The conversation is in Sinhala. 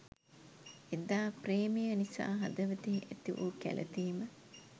එදා ප්‍රේමය නිසා හදවතෙහි ඇතිවූ කැලතීම